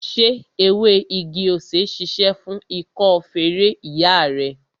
Ṣé ewé igi-osè ṣíṣe fún ikọ́ feré ìyá rẹ?